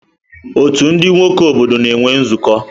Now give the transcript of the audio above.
Ọ́tù ndị nwoke obodo na-enwe nzukọ.